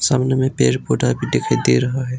सामने में पेड़ पौधा भी दिखाई दे रहा है।